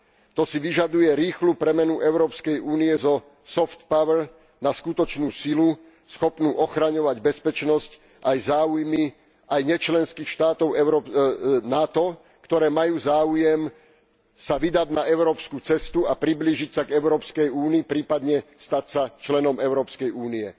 To si vyžaduje rýchlu premenu Európskej únie zo soft power na skutočnú silu schopnú ochraňovať bezpečnosť a záujmy aj nečlenských štátov NATO, ktoré majú záujem sa vydať na európsku cestu a priblížiť sa k Európskej únii, prípadne stať sa členom Európskej únie.